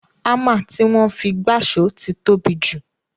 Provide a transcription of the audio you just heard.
Ámà tí wọ́n fi gbáṣọ̀ ti tóbi jù